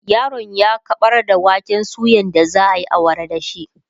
yaron ya kaɓar da waken suyan da zaayi awara da shi